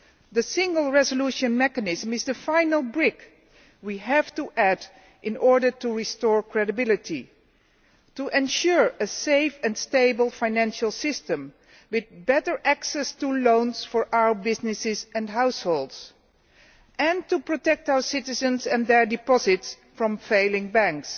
The Single Resolution Mechanism is the final brick we have to add in order to restore credibility, to ensure a safe and stable financial system with better access to loans for our businesses and households, and to protect our citizens and their deposits from failing banks.